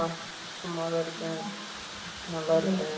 நான் சும்மா தான் இருக்கேன் நல்லா இருக்கேன்